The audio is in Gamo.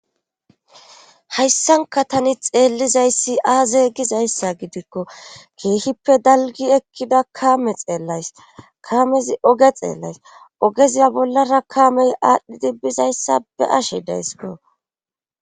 Hayssanka tani xeellizayssi aazey gizayssa gidikko keehippe dalgi ekkida kaame xeellays kamezi oge xeellays ogeziya bollara kaamey aadhdhidi bizayssa be ashe deyssko.